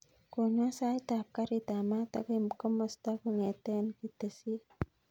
Konon sait ap karit ap maat akoi komosta kongeten ketesyet